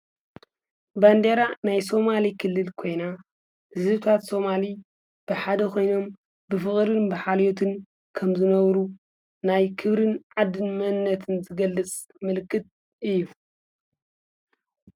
ባንዴራ ናይ ስማሌ ክልል ኮይና ህዝብታት ስማሌ ብሓደ ኮይኖም ብፍቅሪ ብሓልዮትን ከምዝነብሩ ናይ ክብሪን ዓዲን መንነትን ዝገልፅ ምልክት እዩ።